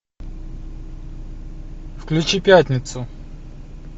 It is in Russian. включи пятницу